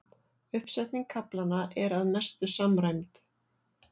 Uppsetning kaflanna er að mestu samræmd